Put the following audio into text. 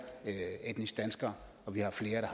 etniske danskere og vi har flere